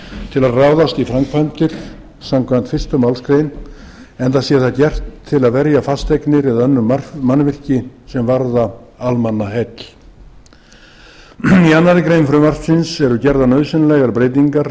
til að ráðast í framkvæmdir samkvæmt fyrstu málsgreinar enda sé það gert til að verja fasteignir eða önnur mannvirki sem varða almannaheill í annarri grein frumvarpsins eru gerðar nauðsynlegar breytingar